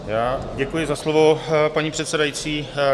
Děkuji za slovo, paní předsedající.